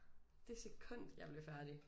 Det sekund jeg blev færdig